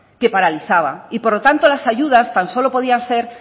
que paralizaba y por lo tanto las ayudas tan solo podían